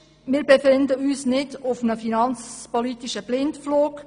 Wir befinden uns nicht auf einem finanzpolitischen Blindflug.